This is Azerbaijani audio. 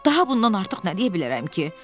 Daha bundan artıq nə deyə bilərəm ki?